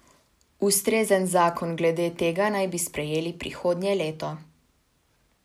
Ustrezen zakon glede tega naj bi sprejeli prihodnje leto.